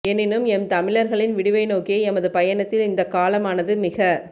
எனினும் எம் தமிழர்களின் விடிவை நோக்கிய எமது பயணத்தில் இந்தக் காலமானது மிக